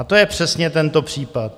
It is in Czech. A to je přesně tento případ.